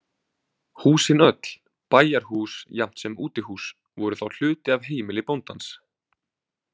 Húsin öll, bæjarhús jafnt sem útihús, voru þá hluti af heimili bóndans.